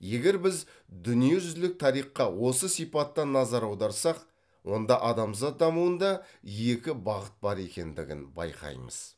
егер біз дүниежүзілік тарихқа осы сипатта назар аударсақ онда адамзат дамуында екі бағыт бар екеңдігін байқаймыз